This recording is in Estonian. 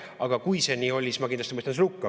Aga kui see nii oli, siis ma kindlasti mõistan selle hukka.